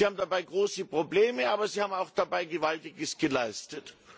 Sie haben dabei große Probleme, aber sie haben auch Gewaltiges geleistet.